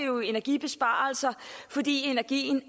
jo energibesparelser fordi energien